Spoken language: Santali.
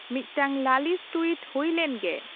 ᱢᱤᱫᱴᱟᱝ ᱞᱟᱹᱞᱤᱥ ᱴᱩᱭᱤᱴ ᱦᱩᱭ ᱞᱮᱱ ᱜᱮ